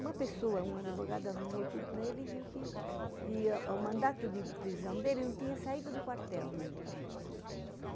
Uma pessoa, um advogado, arrumou tudo para ele e viu que o mandato de prisão dele não tinha saído do quartel nunca.